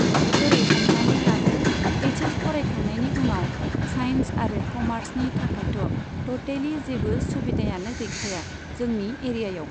ओरै हमनानै लादो एइच एस फरायखांनायनि उनाव साइन्स आरो क'मार्सनि थाखायथ' टुटेलि जेब्बो सुबिदायानो गैखाया, जोंनि एरियायाव।